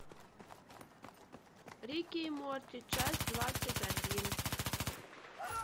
рик и морти часть двадцать один